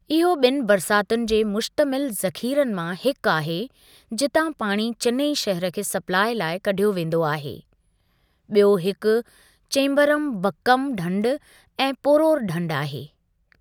इहो ॿिनि बरसातुनि जे मुश्तमिल ज़ख़ीरनि मां हिकु आहे जितां पाणी चिनाई शहर खे स्पलाई लाइ कढियो वेंदो आहे, ॿियो हिकु चेम्बरमबक्कम ढंढ ऐं पोरोर ढंढ आहे।